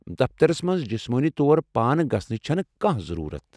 دفترس منز جِسمٲنی طور پانہٕ گژھنٕچ چھنہٕ كانٛہہ ضروٗرت ۔